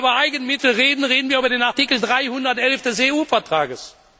Wenn wir über Eigenmittel reden, reden wir über den Artikel 311 des EU Vertrages.